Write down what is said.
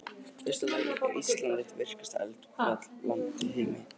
Í fyrsta lagi er Ísland eitt virkasta eldfjallaland í heimi.